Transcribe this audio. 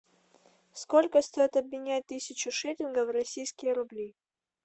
сколько стоит обменять тысячу шиллингов в российские рубли